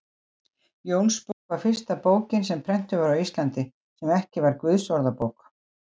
Jónsbók var fyrsta bókin sem prentuð var á Íslandi, sem ekki var Guðsorðabók.